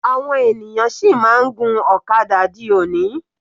Àwọn ènìyàn sì máa ń gun ọ̀kadà di òní.